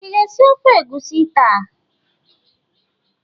Ị ga-esi ofe egusi taa?